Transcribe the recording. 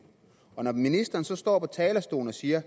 når ministeren så står på talerstolen og siger at